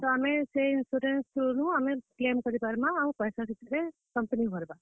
ତ ଆମେ ସେ insurance through ରୁ ଆମେ claim କରିପାରମା ଆଉ ପଏସା ସେଥିରେ company ଭର୍ ବା।